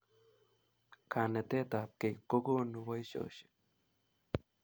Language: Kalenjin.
Kanetet ab kei kokonu boishoshek